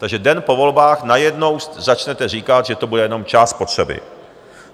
Takže den po volbách najednou začnete říkat, že to bude jenom část spotřeby.